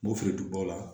Mofili duguba la